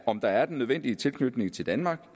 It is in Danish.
om der er den nødvendige tilknytning til danmark